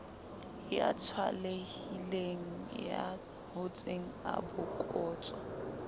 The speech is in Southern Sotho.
ya tswalehileng ya hotseng abokotswa